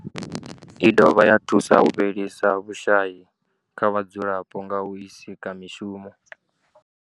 I dovha ya thusa u fhelisa vhushayi kha vhadzulapo nga u sika mishumo.